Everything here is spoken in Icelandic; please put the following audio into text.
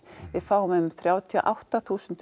við fáum um þrjátíu og átta þúsund